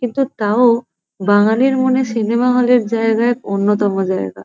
কিন্তু তাও বাঙালির মনে সিনেমা হল -এর জায়গা এক অন্যতম জায়গা।